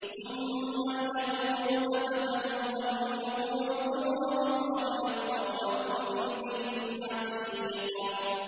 ثُمَّ لْيَقْضُوا تَفَثَهُمْ وَلْيُوفُوا نُذُورَهُمْ وَلْيَطَّوَّفُوا بِالْبَيْتِ الْعَتِيقِ